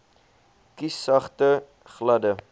kies sagte gladde